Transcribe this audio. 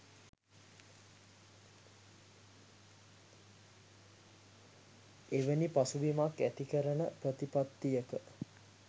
එවැනි පසුබිමක් ඇති කරන ප්‍රතිපත්තියක